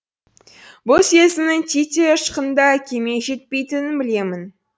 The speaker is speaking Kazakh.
бұл сезімнің титтей ұшқыны да әкеме жетпейтінін білемін